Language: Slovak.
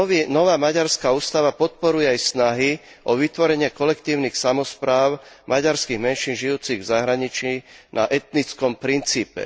Nová maďarská ústava podporuje aj snahy o vytvorenie kolektívnych samospráv maďarských menšín žijúcich v zahraničí na etnickom princípe.